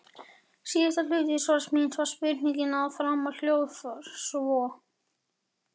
Síðari hluti svars míns við spurningunni að framan hljóðar svo